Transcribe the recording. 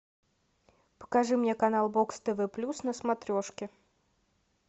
покажи мне канал бокс тв плюс на смотрешке